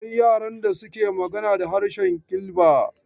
Akwai yaran da suke magana da harshen Kilba.